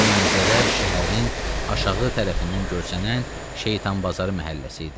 O mənzərə şəhərin aşağı tərəfindən görsənən Şeytanbazarı məhəlləsi idi.